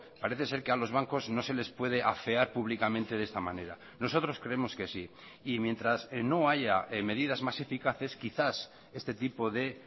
parece ser que a los bancos no se les puede afear públicamente de esta manera nosotros creemos que sí y mientras no haya medidas más eficaces quizás este tipo de